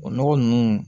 O nɔgɔ nunnu